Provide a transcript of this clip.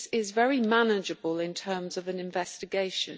This is very manageable in terms of an investigation.